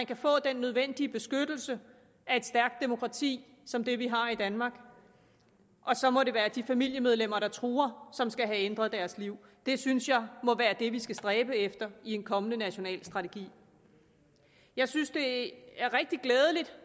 kan få den nødvendige beskyttelse af et stærkt demokrati som det vi har i danmark så må det være de familiemedlemmer der truer som skal have ændret deres liv det synes jeg må være det vi skal stræbe efter i en kommende national strategi jeg synes det er rigtig glædeligt